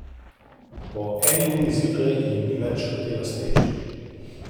Po eni uri zjutraj jim ni več hotela streči ...